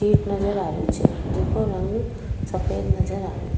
प नजर आ रहे छे जेको रंग सफ़ेद नजर आ रेहो।